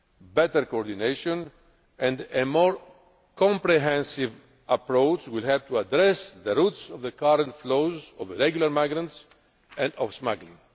Better coordination and a more comprehensive approach will help to address the roots of the current flows of irregular migrants and of smuggling.